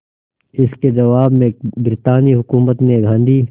इसके जवाब में ब्रितानी हुकूमत ने गांधी